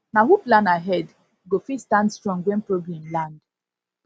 na who plan ahead go fit stand strong when problem land